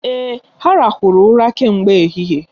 Èè, ha ràhụrụ ụra kemgbe ehihie.